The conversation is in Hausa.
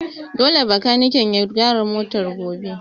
Dole bakaniken ya gyara motar gobe!